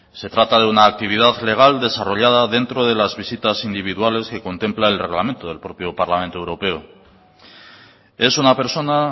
se trata de una actividad legal desarrollada dentro de las visitas individuales que contempla el reglamento del propio parlamento europeo es una persona